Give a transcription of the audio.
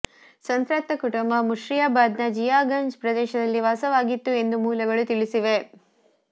ಸಂತ್ರಸ್ತ ಕುಟುಂಬ ಮುರ್ಷಿದಾಬಾದ್ನ ಜಿಯಾಗಂಜ್ ಪ್ರದೇಶದಲ್ಲಿ ವಾಸವಾಗಿತ್ತು ಎಂದು ಮೂಲಗಳು ತಿಳಿಸಿವೆ